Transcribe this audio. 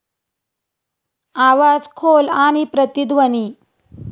आवाज खोल आणि प्रतिध्वनी